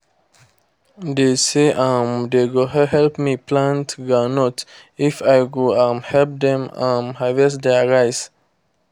they say um they go help me plant groundnut if i go um help them um harvest their rice.